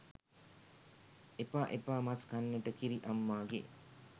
එපා එපා මස් කන්නට කිරි අම්මාගේ